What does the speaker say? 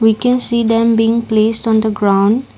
we can see them being placed on the ground.